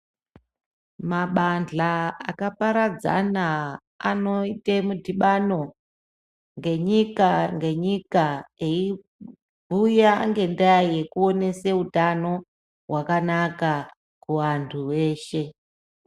Mabandla akaparadzana anoite midhibano ngenyika ngenyika eiuya ngendaa yekuonese utano hwakanaka kuvanthu veshe.